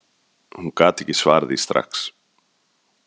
Hún gat ekki svarað því strax.